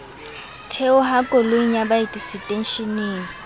theoha koloing ya baeti seteishening